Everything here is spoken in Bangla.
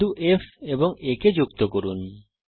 বিন্দু F এবং A কে যুক্ত করুন